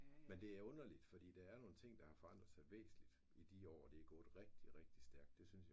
Men det underligt fordi der er nogle ting der har forandret sig væsentligt i de år det gået rigtig rigtig stærkt det synes jeg